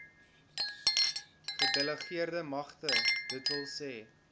gedelegeerde magte dws